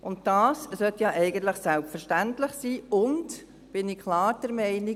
Dies sollte ja eigentlich selbstverständlich sein, und ich bin klar der Meinung: